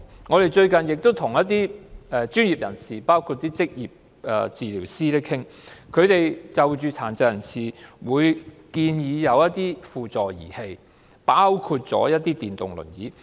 我們最近與包括職業治療師在內的專業人士討論，他們建議殘疾人士使用輔助儀器，包括電動輪椅。